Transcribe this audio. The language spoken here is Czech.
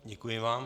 Děkuji vám.